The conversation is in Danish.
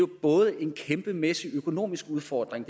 både er en kæmpemæssig økonomisk udfordring